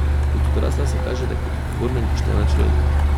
Kot odrasla se kažeta kot odgovorna in poštena človeka .